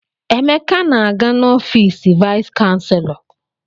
Emeka na-aga n'ọfiisi vaịs chanselọ.